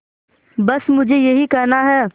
बस मुझे यही कहना है